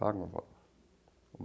Paga um valor.